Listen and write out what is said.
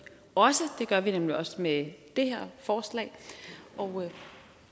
også det gør vi nemlig også med det her forslag og